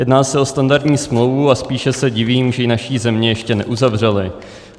Jedná se o standardní smlouvu a spíše se divím, že ji naše země ještě neuzavřela.